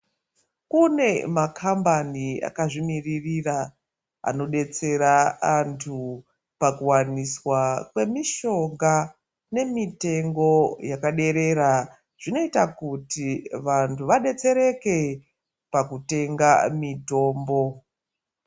Kune makhambani akazvimiriria anodetsera antu pakuwaniswa kwemishonga nemitengo yakaderera zvinoita kuti vanhu vadetsereke pakutenga mitombo.